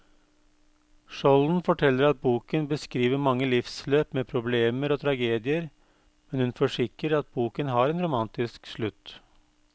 Skjolden forteller at boken beskriver mange livsløp med problemer og tragedier, men hun forsikrer at boken har en romantisk slutt.